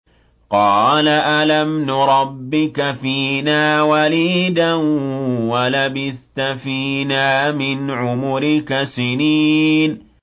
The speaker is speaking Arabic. قَالَ أَلَمْ نُرَبِّكَ فِينَا وَلِيدًا وَلَبِثْتَ فِينَا مِنْ عُمُرِكَ سِنِينَ